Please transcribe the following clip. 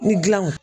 Ni gilanw